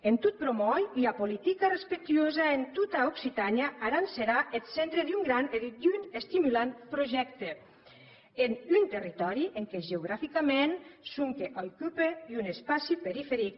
en tot promòir ua politica respectuosa entà tota occitània aran serà eth centre d’un gran e d’un estimulant projècte en un territòri en qué geograficament sonque aucupe un espaci periferic